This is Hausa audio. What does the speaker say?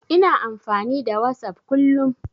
Ina amfani da Whatsapp kullum.